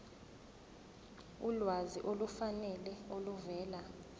ulwazi olufanele oluvela